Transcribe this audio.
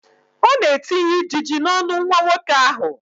Ọ na-etinye ijiji n'ọnụ nwa nwoke ahụ.